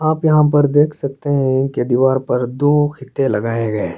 आप यहाँ पर देख सकते है कि द्वार पर दो फीते लगाए गए लगाए गए--